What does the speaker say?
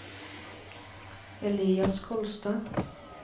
Elias Kolstad